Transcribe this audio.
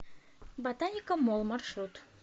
ботаника молл маршрут